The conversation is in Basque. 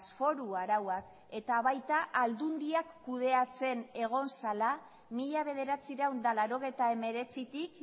foru arauak eta baita aldundiak kudeatzen egon zela mila bederatziehun eta laurogeita hemeretzitik